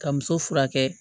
Ka muso furakɛ